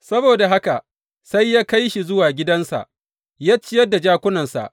Saboda haka sai kai shi zuwa gidansa ya ciyar da jakunansa.